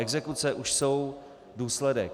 Exekuce už jsou důsledek.